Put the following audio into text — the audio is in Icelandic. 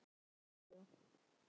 Veit ekki af hverju ég elti þá.